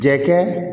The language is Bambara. Jɛkɛ